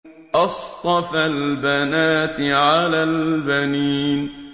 أَصْطَفَى الْبَنَاتِ عَلَى الْبَنِينَ